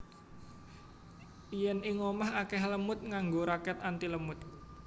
Yen ing omah akeh lemud nganggo raket antilemud